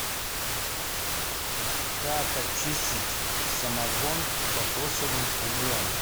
как очистить самогон кокосовым углем